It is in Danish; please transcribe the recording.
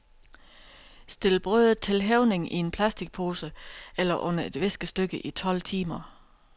Stil brødet til hævning i en plasticpose eller under et viskestykke i tolv timer.